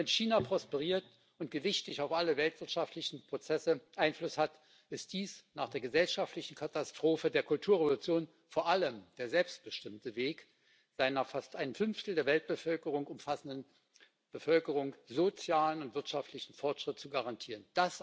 Wenn China prosperiert und gewichtig auf alle weltwirtschaftlichen Prozesse Einfluss hat, ist dies nach der gesellschaftlichen Katastrophe der Kulturrevolution vor allem der selbstbestimmte Weg, seiner fast ein Fünftel der Weltbevölkerung umfassenden Bevölkerung sozialen und wirtschaftlichen Fortschritt zu garantieren.